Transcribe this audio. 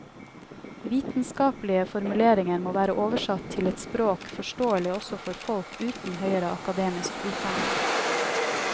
Vitenskapelige formuleringer må være oversatt til et språk forståelig også for folk uten høyere akademisk utdanning.